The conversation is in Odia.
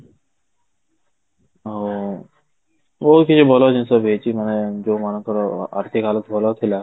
ଆଉ ବହୁତ କିଛି ଭଲ ଜିନିଷ ବି ଦେଇଛି ଯୋଉ ମାନଙ୍କର ଆର୍ଥିକ ଭଲ ଥିଲା